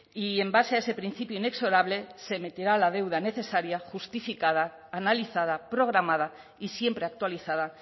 y en base a ese principio inexorable se meterá la deuda necesaria justificada analizada programada y siempre actualizada